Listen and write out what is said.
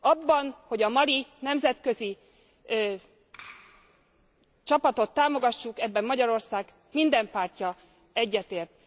Abban, hogy a mali nemzetközi csapatot támogassuk, Magyarország minden pártja egyetért.